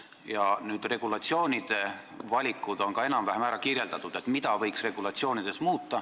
Ja regulatsioonide valikud, see, mida võiks regulatsioonides muuta, on ka enam-vähem ära kirjeldatud.